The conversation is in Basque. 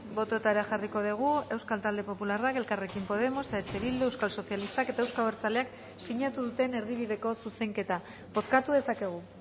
bototara jarriko dugu euskal talde popularrak elkarrekin podemos eh bildu euskal sozialistak eta euzko abertzaleak sinatu duten erdibideko zuzenketa bozkatu dezakegu